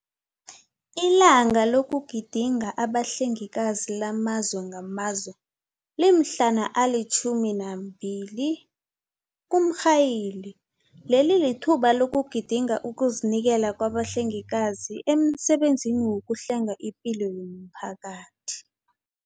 ILanga lokuGidinga abaHlengikazi lamaZwe ngamaZwe, limhlana ali-12 kuMrhayili, leli lithuba lokugidinga ukuzinikela kwabahlengikazi emsebenzini wokuhlenga ipilo yomphakathi.